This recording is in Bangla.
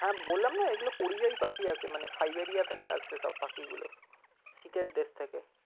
হ্যাঁ বললাম না এগুলো পরিযায়ী পাখি আসে মানে সাইবেরিয়া থেকে আসে সব পাখিগুলো শীত এর দেশ থেকে।